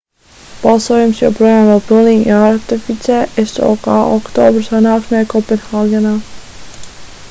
balsojums joprojām vēl pilnīgi jāratificē sok oktobra sanāksmē kopenhāgenā